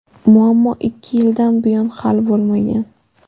Muammo ikki yildan buyon hal bo‘lmagan.